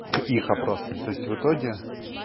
к их опросам то есть в итоге